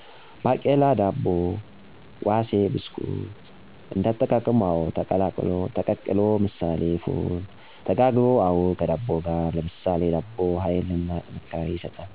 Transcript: ባቄላ ዳቦ ዋሴ ብስኩት: እንዳጠቃቀሙ :አወ: ተቀቅሎ ምሳሌ ፉል :ተጋግሮ: አወ ከዳቦጋር ለምሳሌ ዳቦ ሀይልና ጥንካሬ ይሰጣል